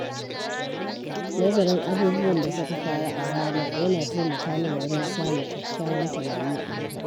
Nazarin abubuwan da suka faru a rana yana taimaka min wajen samun kyakkyawan tunani a gaba.